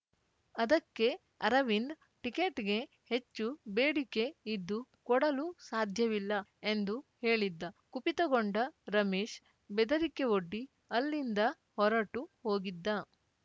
ಅದಕ್ಕೆ ಅರವಿಂದ್‌ ಟಿಕೆಟ್‌ಗೆ ಹೆಚ್ಚು ಬೇಡಿಕೆ ಇದ್ದು ಕೊಡಲು ಸಾಧ್ಯವಿಲ್ಲ ಎಂದು ಹೇಳಿದ್ದ ಕುಪಿತಗೊಂಡ ರಮೇಶ್‌ ಬೆದರಿಕೆವೊಡ್ಡಿ ಅಲ್ಲಿಂದ ಹೊರಟು ಹೋಗಿದ್ದ